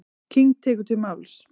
King tekur til máls.